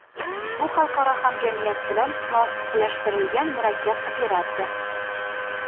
bu xalqaro hamjamiyat bilan muvofiqlashtirilgan murakkab operatsiya.